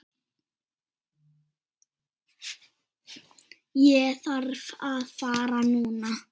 Ég þarf að fara núna